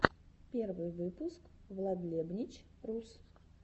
первый выпуск владлебнич рус